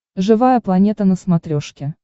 живая планета на смотрешке